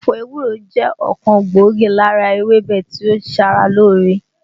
Ẹ̀fọ́ ewúro jẹ́ ọ̀kan gbòógì lára ewébẹ̀ tí ó ń ṣara lóore